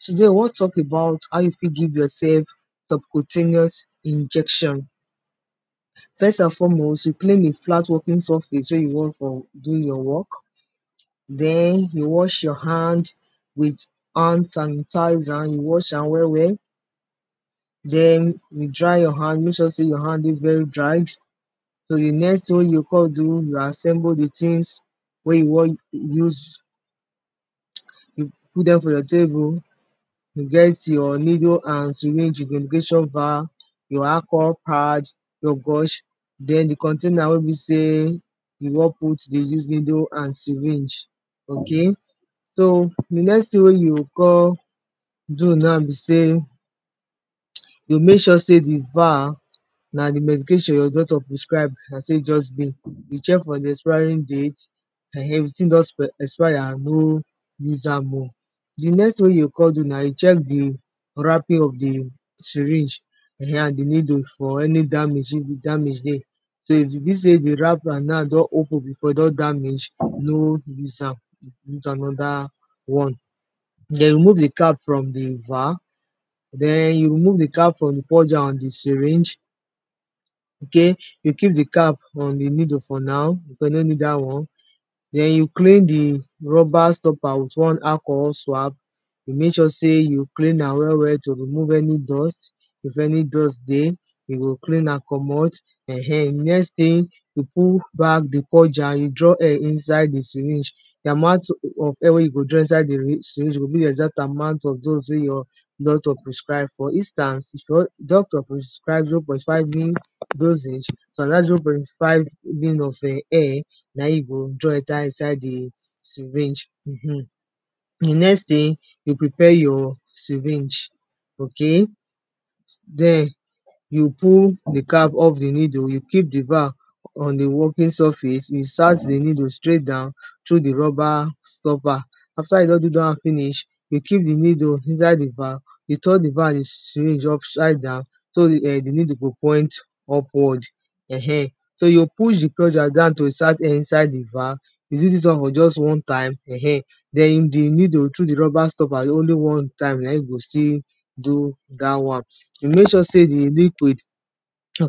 today we won talk about how you fit give yourself some pro ten ous injectin. first and foremost you clear a flat working surface where you wan for do your work den you wash your hand with hadn sanitizer yo was am well well den you dry your hadn mek sure sey your hand dey very dried so di next thing wey you o kon do you na assemble di tins wey you wan use, you put dem for your table you get your neele and cyring, your brush, den di container wen be sey you wan put di us needle and cyring. so di next tin wey you go kon do now be sey you mek sure sey di val na di mediaion your doctor prescrib na in e just be you check for di expiring date um if di tin don expire no use am oh. D next thing wey you go con do na check di wrapping of di needle and d cyring fo any damage if damage dey so if e be say di wrapper don open before don damage, no use am again den you remove di cap from di jar ok keep di cap on di needle for now because you no need dat won den you clean di rubber stopper wit one alcioho swab you make sure you clean am well well to remove any dust, if any dust dey, you go clean am commot, een dinext tin you put bagdey purge an, you draw air inside d cyring di amount of air wen you go drop inside di cyring go be the exact amount wey your doctor prescribe for instance if doctor prescribe zero point five na dat zero point five na in we go draw inside to cyring. di net tin, you prepre your cyring ok den you pull di cap of di needle, you kep di valve on a working surface insert di nedle straight down trough di rubber stropper after you don do da won finish, you keep di needle inside di valve you turn d valve with cyring upside down di needle go point upwrd, [um]so you go push di down to insert air iside d valave you dn di needle through di rubber stopper only one time na in go still do dat won you mek sure you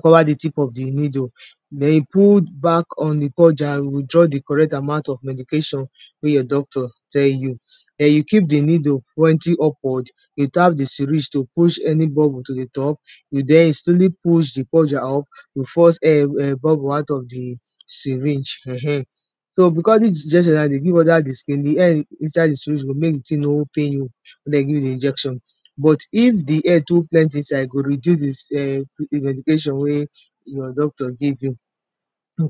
cover di tip of di neele den you put back on d badger and draw di correct amount of medication wey your doctor tell you. you keep di needle pointing upward and you tap di cyrng to push any bubble to di top, den etremly push di purger up to force bubble out of di cyring. so because dis injection e go mek di tin no pain you if den give you injection but if di air too plenty inside, e go reduce di medication wey your doctor give you.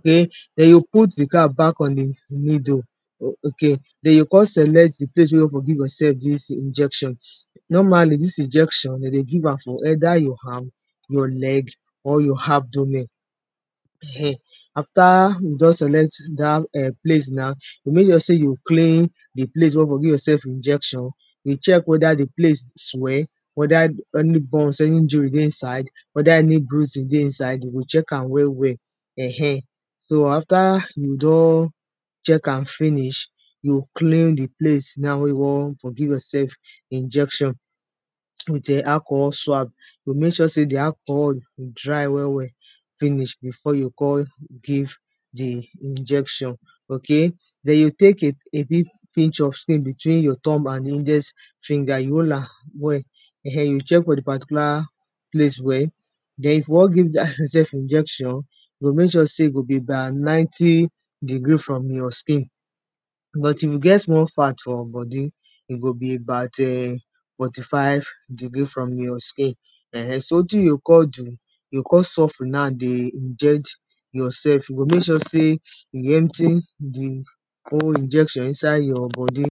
den you o put di cap back in di needle ok den you o kon select di place whre you go give yourself injection normally dis injection de dey give am for near your hand, leg or your abdomen after you don select dat eh place na you mek sure sey you clean d place where you for give yourself injectin you check weda di place swell weda any injury dey inside weda anybruising dey inside de go check am well well um so after you don check am finish, you clean di place now were you for won fr give yurself injectin with acohol swab and emek sure sey di acohol dry well well finish before you go kon give di injection den you tek a big pitch of skin between nyour tumb and index finger you holamwell um you check for fr di particular place well den if you won give injection you go mek sure e be by ninety degree from your akin but if you get small fat for body, e go be about eh forty-five degree from your skn[um]. wetin you o kon do, you o kon suffery iject yourself you go mek sure sey you empty di whole injection inside yourbodi